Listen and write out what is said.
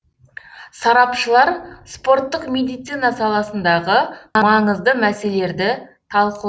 сарапшылар спорттық медицина саласындағы маңызды мәселелерді талқылады